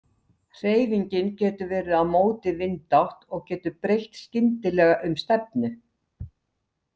Hreyfingin getur verið á móti vindátt og getur breytt skyndilega um stefnu.